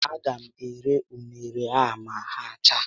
A ga m ere unere a ma ha chaa